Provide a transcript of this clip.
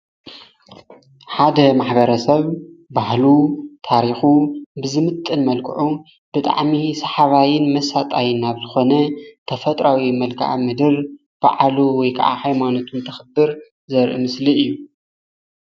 ሓደ ማሕበረሰብ ባህሉ ፣ታሪኹ ብዝምጥን መልክዑ ብጣዕሚ ሰሓባይን መሳጣይን ናብ ዝኾነ ተፈጥራዊ መልከአምድር ባዕሉ ወይ ከዓ ሃይማኖቱ እንተኽብር ዘርኢ ምስሊ እዩ።